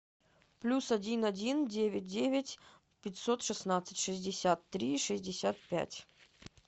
плюс один один девять девять пятьсот шестнадцать шестьдесят три шестьдесят пять